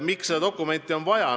Miks seda dokumenti on vaja?